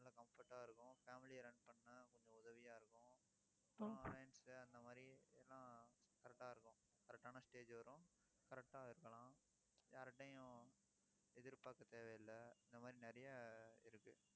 நல்ல comfort ஆ இருக்கும். family அ run பண்ண கொஞ்சம் உதவியா இருக்கும் அந்த மாதிரி எல்லாம் correct ஆ இருக்கும். correct ஆன stage வரும். correct ஆ இருக்கலாம் யார்கிட்டயும் எதிர்பார்க்கத் தேவையில்ல இந்த மாதிரி நிறைய இருக்கு